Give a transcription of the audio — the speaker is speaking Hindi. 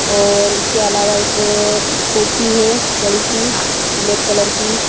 और इसके अलावा एक कुर्सी हैबड़ी सी ब्लैक कलर की।